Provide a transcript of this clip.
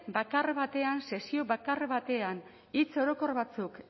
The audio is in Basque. bakar batean sesio bakar batean hitz orokor batzuk